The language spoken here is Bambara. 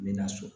N bɛ na so